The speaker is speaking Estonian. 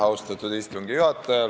Austatud istungi juhataja!